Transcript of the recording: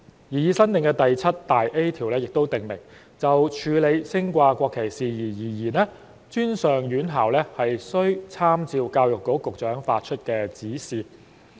擬議新訂第 7A 條亦訂明，就處理升掛國旗事宜而言，專上院校須參照教育局局長發出的指示。